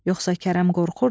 Yoxsa Kərəm qorxurdu?